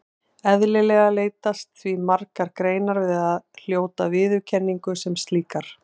Eðlilega leitast því margar greinar við að hljóta viðurkenningu sem slíkar.